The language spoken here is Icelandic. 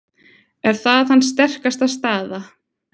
Er það hans sterkasta staða?